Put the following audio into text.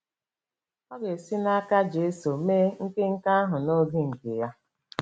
Ọ ga-esi n’aka Jesu mee nke nke ahụ n’oge nke Ya.